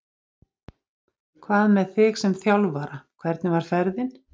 Hvað með þig sem þjálfara, hvernig var ferðin?